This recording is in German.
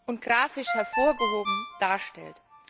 und grafisch hervorgehoben darstellt.